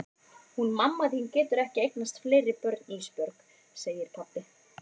Hún mamma þín getur ekki eignast fleiri börn Ísbjörg, segir pabbi.